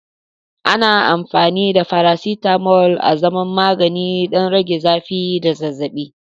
Ana amfani da faracetamol azaman magani don rage zafi da zazzabi.